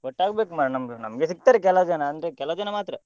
ಒಟ್ಟಾಗ್ಬೇಕು ಮರ್ರೆ ನಮ್ದು ನಮ್ಗೆ ಸಿಗ್ತಾರೆ ಕೆಲಾವ್ ಜನ ಅಂದ್ರೆ ಕೆಲಾವ್ ಜನ ಮಾತ್ರ.